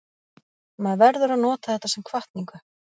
Maður verður að nota þetta sem hvatningu.